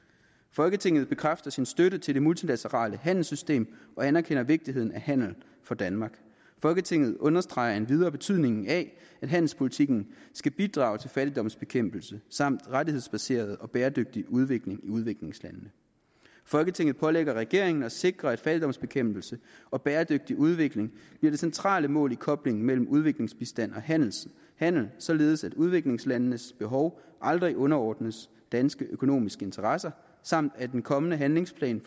folketinget bekræfter sin støtte til det multilaterale handelssystem og anerkender vigtigheden af handel for danmark folketinget understreger endvidere betydningen af at handelspolitikken skal bidrage til fattigdomsbekæmpelse samt rettighedsbaseret og bæredygtig udvikling i udviklingslandene folketinget pålægger regeringen at sikre at fattigdomsbekæmpelse og bæredygtig udvikling bliver det centrale mål i koblingen mellem udviklingsbistand og handel handel således at udviklingslandenes behov aldrig underordnes danske økonomiske interesser samt at den kommende handlingsplan